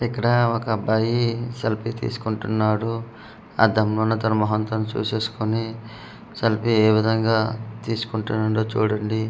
ఇక్కడ ఒక అబ్బాయి సెల్ఫీ తీసుకుంటున్నాడు అద్దంలో వున్నా తన ముఖాన్ని తను చుసేసుకొని సెల్ఫీ ఏ వీధంగా తీసుకుంటూన్నాడో చూడండి మీ--